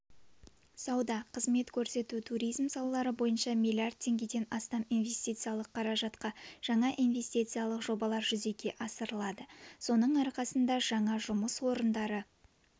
сауда қызмет көрсету туризм салалары бойынша миллиард теңгеден астам инвестициялық қаражатқа жаңа инвестициялық жобалар жүзеге асырылады соның арқасында жаңа жұмыс орындары